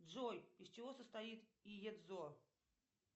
джой из чего состоит иедзо